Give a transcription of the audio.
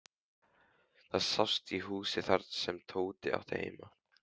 Það sást í húsið þar sem Tóti átti heima.